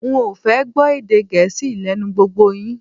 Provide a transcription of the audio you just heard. N ò fẹ́ gbọ́ èdè gẹẹsi lé̩nu gbogbo yin